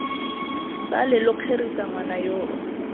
sale lo kgerisa ngwana yoo